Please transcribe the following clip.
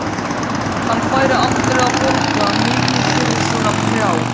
Hann færi aldrei að borga mikið fyrir svona prjál.